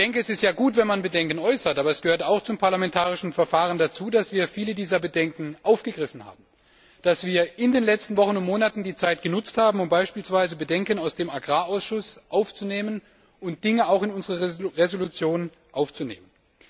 Es ist ja gut, wenn man Bedenken äußert, aber es gehört auch zum parlamentarischen Verfahren, dass wir viele dieser Bedenken aufgegriffen haben, dass wir in den letzten Wochen und Monaten die Zeit genutzt haben, um beispielsweise Bedenken aus dem Agrarausschuss zu berücksichtigen und Dinge auch in unsere Entschließung aufzunehmen.